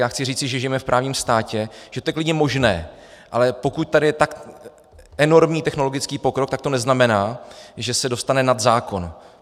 Já chci říci, že žijeme v právním státě, že to je klidně možné, ale pokud tady je tak enormní technologický pokrok, tak to neznamená, že se dostane nad zákon.